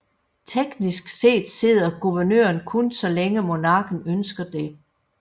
Teknisk set sidder guvernøren kun så længe monarken ønsker det